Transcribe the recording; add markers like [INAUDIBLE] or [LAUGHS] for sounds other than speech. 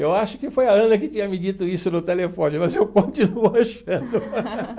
Eu acho que foi a Ana que tinha me dito isso no telefone, mas eu continuo achando. [LAUGHS]